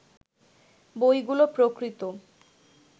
বইগুলো প্রকৃত